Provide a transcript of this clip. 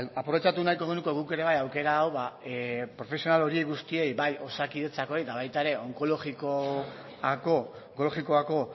aprobetxatu nahiko genuke guk ere bai aukera hau profesional horiei guztiei bai osakidetzakoei eta baita ere onkologikoko